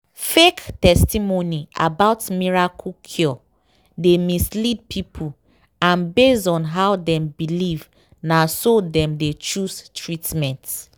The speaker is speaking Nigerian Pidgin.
fake testimony about miracle cure dey mislead people and based on how dem believe na so dem dey choose treatment."